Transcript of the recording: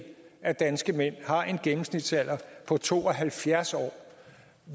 af danske mænd har en gennemsnitsalder på to og halvfjerds år